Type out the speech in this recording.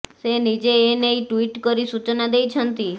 ସେ ନିଜେ ଏ ନେଇ ଟ୍ୱିଟ୍ କରି ସୂଚନା ଦେଇଛନ୍ତି